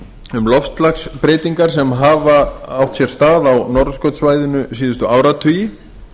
um loftslagsbreytingar sem hafa átt sér stað á norðurskautssvæðinu síðustu áratugi